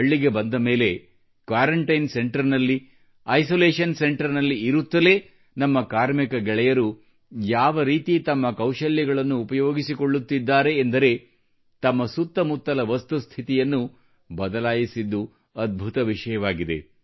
ಹಳ್ಳಿಗೆ ಬಂದ ಮೇಲೆ ಐಸೊಲೇಷನ್ ಅಥವಾ ಕ್ವಾರಂಟೈನ್ ಸೆಂಟರ್ಸ್ ನಲ್ಲಿ ಇರುತ್ತಲೇ ನಮ್ಮ ಕಾರ್ಮಿಕ ಗೆಳೆಯರು ಯಾವ ರೀತಿ ತಮ್ಮ ಕೌಶಲ್ಯಗಳನ್ನು ಉಪಯೋಗಿಸಿಕೊಳ್ಳುತ್ತಿದ್ದಾರೆ ಎಂದರೆ ತಮ್ಮ ಸುತ್ತಮುತ್ತಲ ವಸ್ತುಸ್ಥಿತಿಯನ್ನು ಅದ್ಭುತವಾಗಿ ಬದಲಾಯಿಸುತ್ತಿದ್ದಾರೆ